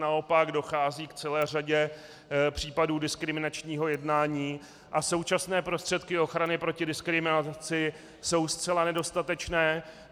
Naopak dochází k celé řadě případů diskriminačního jednání a současné prostředky ochrany proti diskriminaci jsou zcela nedostatečné.